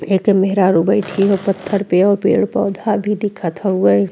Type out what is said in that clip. एकर महरारु बैठी है पत्थर पे। पेड़ पौधा भी दिखत हउवे।